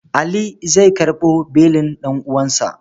Ali zai karɓo belin ɗan'uwansa.